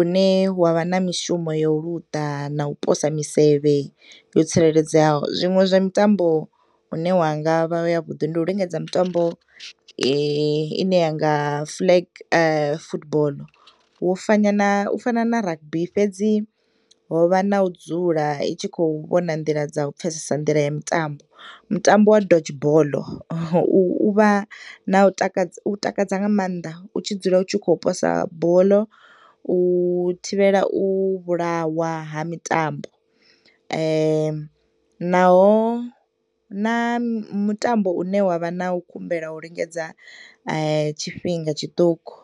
une wavha na mishumo yo luḓa na u posa misevhe yo tsireledzeaho zwiṅwe zwa mitambo une ya ngavha ya vhuḓi ndi u lingedza mutambo ine yanga flag football u fanya na u fana na rugby. Fhedzi hovha na u dzula itshi khou vhona nḓila dza u pfesesa nḓila ya mitambo, mutambo wa doge boḽo uvha na u taka, u takadza nga maanḓa u tshi dzula u tshi khou posa boḽo u thivhela u vhulawa ha mitambo naho na mutambo une wavha na u kumbela u lingedza tshifhinga tshiṱuku.